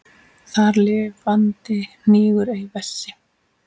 Þar lifandi hnígur ei vessi.